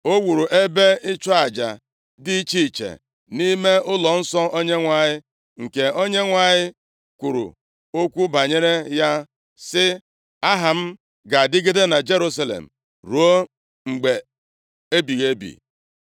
O wuru ebe ịchụ aja dị iche iche, nʼime ụlọnsọ Onyenwe anyị, nke Onyenwe anyị, kwuru okwu banyere ya, sị, “Aha m ga-adịgide na Jerusalem ruo mgbe ebighị ebi.”